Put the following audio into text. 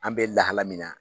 An bɛ lahala min na.